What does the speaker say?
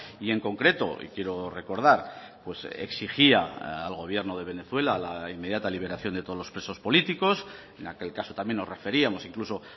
y en concreto y quiero recordar exigía al gobierno de venezuela la inmediata liberación de todos los presos políticos en aquel caso también nos referíamos incluso